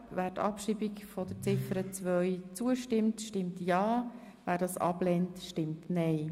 Wer der Abschreibung von Ziffer 2 zustimmt, stimmt ja, wer dies ablehnt, stimmt nein.